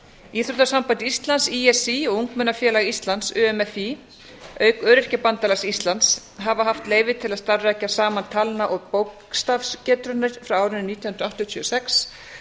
íþróttasamband íslands í s í og ungmennafélag íslands umfí auk öryrkjabandalags íslands hafa haft leyfi til að starfrækja saman talna og bókstafagetraunir frá árinu nítján hundruð áttatíu og sex